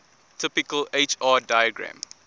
typical hr diagram